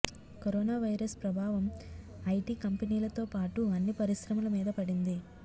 corona virus ప్రభావం IT కంపెనీలతో పాటు అన్ని పరిశ్రమల మీద పడింది